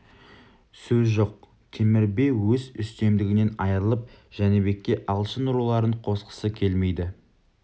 сөз жоқ темір би өз үстемдігінен айырылып жәнібекке алшын руларын қосқысы келмейді